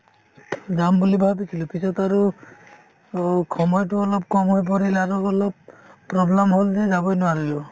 যাম বুলি ভাবিছিলো পিছত আৰু অ' সময়তো অলপ কম হৈ পৰিল আৰু অলপ problem হ'ল যে যাবই নোৱাৰিলো